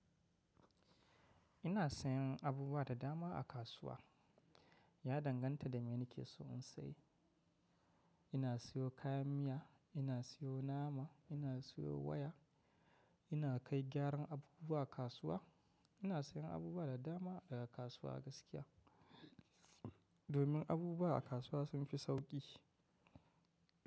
Ina sayan abubuwa da dama a kasuwa. Ya danganta da me nake so in sayi. Ina siyo kayan miya, ina siyo nama, ina siyo waya, ina kai gyaran abubuwa a kasuwa. Ina sayen abubuwa da dama daga kasuwa gaskiya. Domin abubuwa a kasuwa sun fi sauƙi.